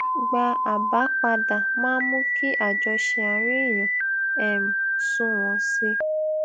gba àbá padà máa ń mú kí àjọṣe àárín èèyàn um sunwòn sí i